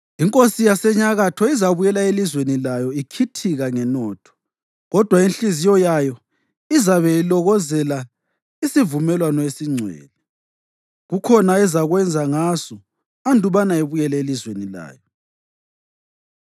Inkosi yaseNyakatho izabuyela elizweni layo ikhithika ngenotho, kodwa inhliziyo yayo izabe ilokozela isivumelwano esingcwele. Kukhona ezakwenza ngaso andubana ibuyele elizweni layo.